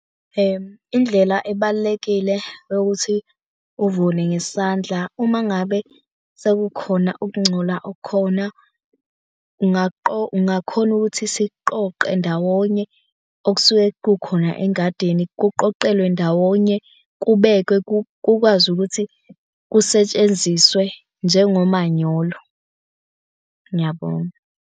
Indlela ebalulekile yokuthi uvune ngesandla, uma ngabe sekukhona ukungcola okukhona ungakhona ukuthi siqoqe ndawonye okusuke kukhona engadini. Kuqoqelwe ndawonye, kubekwe, kukwazi ukuthi kusetshenziswe njengomanyolo. Ngiyabonga.